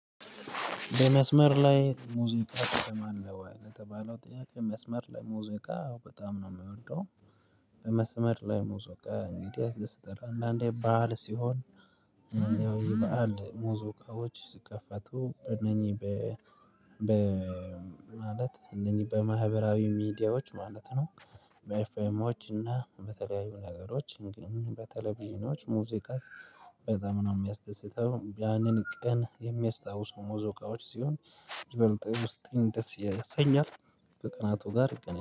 በመስመር ላይ ሙዚቃ ትሰማለህ ወይ? ለተባለው ጥያቄ መስመር ላይ ሙዚቃ በጣም ነው የምወደው። በመስመር ላይ ሙዚቃ እንግዲህ ያስደስታል አንዳንዴ በዓል ሲሆን የበአል ሙዚቃዎች ሲከፈቱ በእነኚህ በ በ ማለት እነኚህ በማህበራዊ ሚዲያዎች ማለት ነው። በኤፌሞች እና በተለያዩ ነገሮች ግን በቴሌቪዥኖች ሙዚቃስ በጣም ነው የሚያስደስተው ያንን ቀን የሚያስታውሱ ሙዚቃዎች ሲሆን ይበልጥ ውስጥን ደስ ያሰኛል። በቀናቱ ጋር ይገናኛል